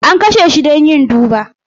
An kashe shi don yin duba.